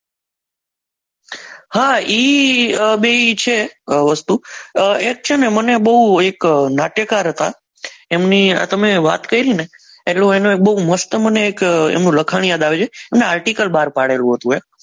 હા ઈ બે છે વસ્તુ એક છે ને મને બહુ એક નાટ્યકાર હતા એમની તમે વાત કરીને એટલો એનો બહુ મસ્ત મને એક લખાણ યાદ આવ્યું અને આર્ટીકલ બહાર પાડેલું હતું એક